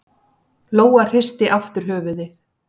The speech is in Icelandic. Lóa hristi aftur höfuðið.